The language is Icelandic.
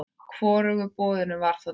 Hvorugu boðinu var þá tekið.